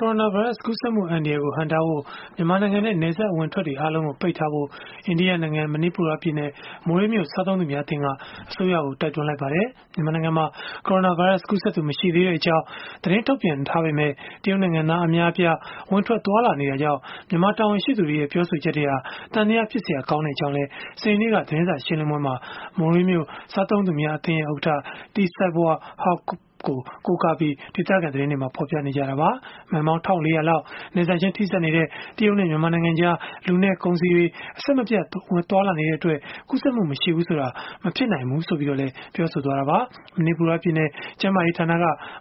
ကိုရိုနာဗိုင်းရပ်စ် ကူးစက်မှု အန္တရာယ်ကို ဟန့်တားဖို့ မြန်မာနိုင်ငံနဲ့ နယ်စပ်အဝင်အထွက်တွေ အားလုံးကို ပိတ်ထားဖို့ အိန္ဒိယနိုင်ငံ မဏိပူရပြည်နယ် မိုရေးမြို့ စားသုံးသူများအသင်းက အစိုးရကို တိုက်တွန်းလိုက်ပါတယ်။ မြန်မာနိုင်ငံမှာ ကိုရိုနာဗိုင်းရပ်စ် ကူးစက်သူ မရှိသေးကြောင်း သတင်းထုတ်ပြန်ထားပေမယ့် တရုတ်နိုင်ငံသား အများအပြား ဝင်ထွက်သွားလာနေတာကြောင့် မြန်မာတာဝန်ရှိသူတွေရဲ့ ပြောဆိုချက်တွေဟာ သံသယဖြစ်စရာ ကောင်းကြောင်းလည်း စနေနေ့က သတင်းစာရှင်းလင်းပွဲမှာ မိုရေးမြို့ စားသုံးသူများအသင်း ဥက္ကဋ္ဌ T Seiboi Haokp ကို ကိုးကားပြီး ဒေသခံသတင်းတွေက ဖော်ပြခဲ့ကြတာပါ။ မိုင်ပေါင်း ၁,၄၀၀ လောက် နယ်စပ်ချင်းထိစပ်နေတဲ့ တရုတ်နဲ့ မြန်မာနိုင်ငံကြား လူနဲ့ ကုန်စည်တွေ အဆက်မပြတ် သွားလာနေတဲ့အတွက် ကူးစက်မှု မရှိဘူးဆိုတာ မဖြစ်နိုင်ဘူးလို့လည်း ပြောဆိုခဲ့တာပါ။ မဏိပူရပြည်နယ် ကျန်းမာရေးဌာနက